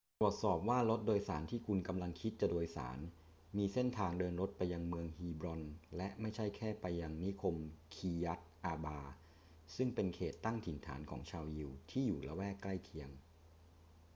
ตรวจสอบว่ารถโดยสารที่คุณกำลังคิดจะโดยสารมีเส้นทางเดินรถไปยังเมืองฮีบรอนและไม่ใช่แค่ไปยังนิคมคีร์ยัต อาร์บา ซึ่งเป็นเขตตั้งถิ่นฐานของชาวยิวที่อยู่ละแวกใกล้เคียง